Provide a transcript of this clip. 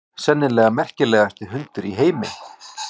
Sennilega merkilegasti hundur í heimi.